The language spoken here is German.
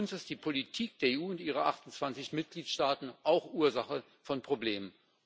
Für uns ist die Politik der EU und ihrer 28 Mitgliedstaaten auch Ursache von Problemen.